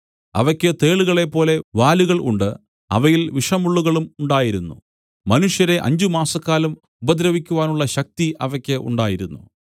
അവയ്ക്ക് തേളുകളെപ്പോലെ വാലുകൾ ഉണ്ട് അവയിൽ വിഷമുള്ളുകളും ഉണ്ടായിരുന്നു മനുഷ്യരെ അഞ്ചുമാസക്കാലം ഉപദ്രവിക്കുവാനുള്ള ശക്തി അവയ്ക്ക് ഉണ്ടായിരുന്നു